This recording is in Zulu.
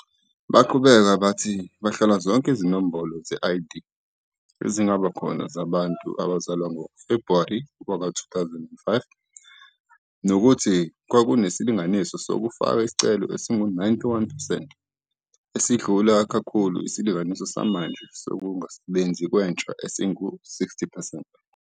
Baqhubeka bathi bahlola zonke izinombolo ze-ID ezingaba khona zabantu abazalwa ngoFebhuwari 2005 nokuthi kwakunesilinganiso sokufaka isicelo esingu-91 percent, esidlula kakhulu isilinganiso samanje sokungasebenzi kwentsha esingu-60 percent.